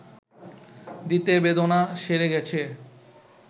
দিতে বেদনা সেরে গেছে